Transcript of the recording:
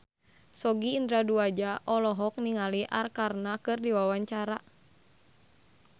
Sogi Indra Duaja olohok ningali Arkarna keur diwawancara